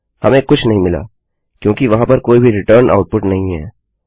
हमें कुछ नहीं मिला क्योंकि वहाँ पर कोई भी रिटर्न आउट्पुट नहीं है